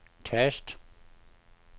tast